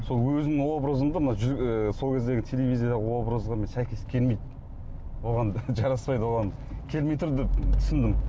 сол өзімнің образымды мына ы сол кездегі телевизиялық образға сәйкес келмейді оған жараспайды оған келмей тұр деп түсіндім